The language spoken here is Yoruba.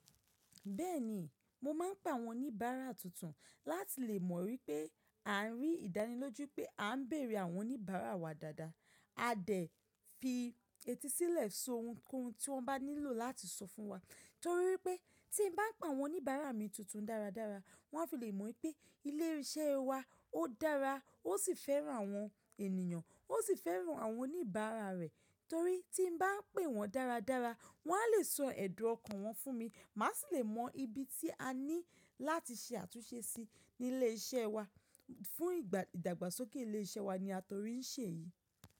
Bẹ́ẹ̀ni, mo máa ń pe àwọn oníbàárà tuntun láti lè mọ̀ wípé à ń rí ìdánilójú pé à ń bèrè àwọn oníbàárà wa dáadáa. A dẹ̀ fi etí sílẹ̀ so ohunkóhun tí wọ́n bá nílò láti sọ fún wa. Torí pé tí n bá ń pa àwọn oníbàárà mi tuntun dáradára, wọ́n á fi lè mọ̀ pé ilé iṣẹ́ wa ó dára, ó sì fẹ́ran àwọn ènìyàn, ó sì fẹ́ran àwọn oníbàárà rẹ̀. Torí tí n bá ń pè wọ́n dáradára, wọ́n á lè sọ ẹ̀dù ọkàn wọn fún mi, mà á sì lè mọ ibi tí a ní láti ṣe àtúnṣe sí ní ilé iṣẹ́ wa. Fún ìdàgbàsókè ilé iṣẹ́ wa ni a torí ń ṣe èyí.